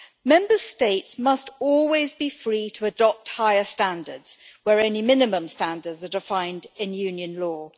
Member States must always be free to adopt higher standards where only minimum standards are defined in Union law.